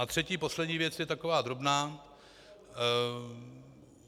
A třetí, poslední věc, je taková drobná.